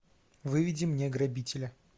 выведи мне грабителя